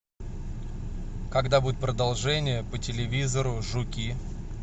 когда будет продолжение по телевизору жуки